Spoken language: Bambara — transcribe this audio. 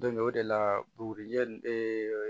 o de la bugurijɛ nin